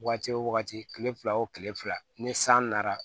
Wagati wo wagati kile fila o kile fila ni san nana